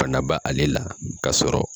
bana b'a ale la k'a sɔrɔ